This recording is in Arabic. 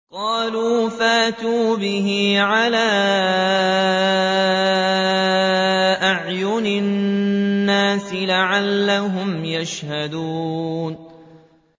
قَالُوا فَأْتُوا بِهِ عَلَىٰ أَعْيُنِ النَّاسِ لَعَلَّهُمْ يَشْهَدُونَ